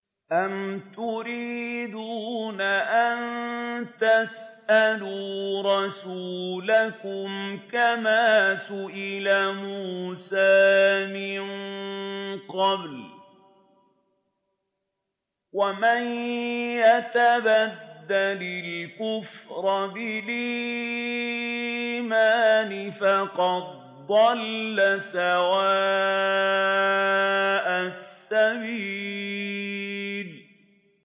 أَمْ تُرِيدُونَ أَن تَسْأَلُوا رَسُولَكُمْ كَمَا سُئِلَ مُوسَىٰ مِن قَبْلُ ۗ وَمَن يَتَبَدَّلِ الْكُفْرَ بِالْإِيمَانِ فَقَدْ ضَلَّ سَوَاءَ السَّبِيلِ